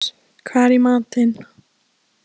Maximus, hvað er í matinn?